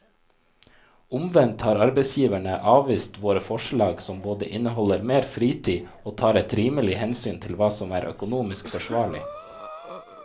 Omvendt har arbeidsgiverne avvist våre forslag som både inneholder mer fritid og tar et rimelig hensyn til hva som er økonomisk forsvarlig.